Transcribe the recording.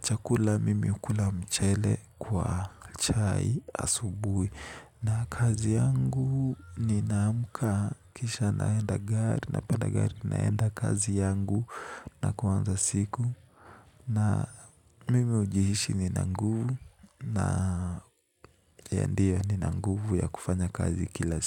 chakula mimi hukula mchele kwa chai asubuhi na kazi yangu nina amka kisha naenda gari napanda gari naenda kazi yangu na kuanza siku, na mimi hujihisi nina nguvu. Na ya ndio nina nguvu ya kufanya kazi kila siku.